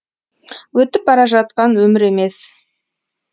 өтіп бара жатқан өмір емес